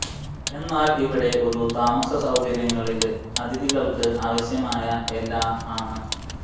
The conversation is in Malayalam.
എന്നാൽ ഇവിടെ ഒരു താമസ സൌകര്യങ്ങളില് അതിഥികൾക്ക് ആവശ്യമായ എല്ലാ ആണ്